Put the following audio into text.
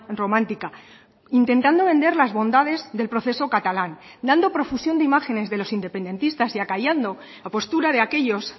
romántica intentando vender las bondades del proceso catalán dando profusión de imágenes de los independentistas y acallando la postura de aquellos